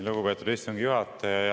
Lugupeetud istungi juhataja!